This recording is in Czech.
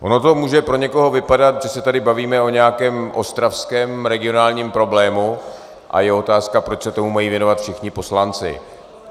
Ono to může pro někoho vypadat, že se tady bavíme o nějakém ostravském regionálním problému a je otázka, proč se tomu mají věnovat všichni poslanci.